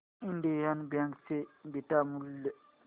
Indian bank चे beta मूल्य